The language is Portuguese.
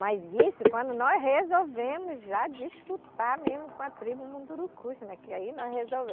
Mas isso, quando nós resolvemos já disputar mesmo com a tribo Mundurucus né, que aí nós.